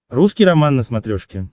русский роман на смотрешке